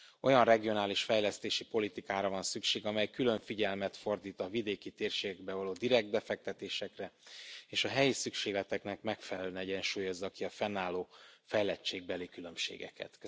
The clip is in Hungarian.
Olyan regionális fejlesztési politikára van szükség, amely külön figyelmet fordít a vidéki térségekbe való direkt befektetésekre, és a helyi szükségleteknek megfelelően egyensúlyozza ki a fennálló fejlettségbeli különbségeket.